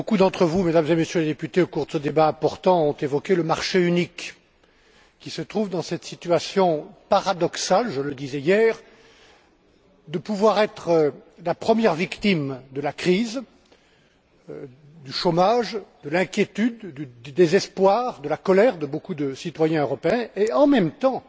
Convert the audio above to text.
Monsieur le Président, beaucoup d'entre vous, Mesdames et Messieurs les députés, au cours de ce débat important ont évoqué le marché unique qui se trouve dans cette situation paradoxale je le disais hier de pouvoir être la première victime de la crise, du chômage, de l'inquiétude, du désespoir, de la colère de beaucoup de citoyens européens et, en même temps,